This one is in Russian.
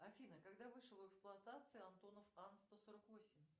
афина когда вышел в эксплуатацию антонов ан сто сорок восемь